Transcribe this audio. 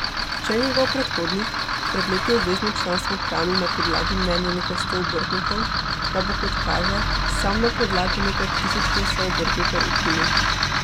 Če je njegov predhodnik pred leti obvezno članstvo ohranil na podlagi mnenja nekaj sto obrtnikov, ga bo, kot kaže, sam na podlagi nekaj tisoč glasov obrtnikov ukinil.